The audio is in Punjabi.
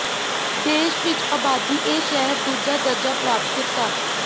ਦੇਸ਼ ਵਿੱਚ ਆਬਾਦੀ ਇਹ ਸ਼ਹਿਰ ਦੂਜਾ ਦਰਜਾ ਪ੍ਰਾਪਤ ਕੀਤਾ